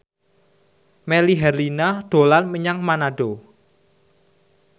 Melly Herlina dolan menyang Manado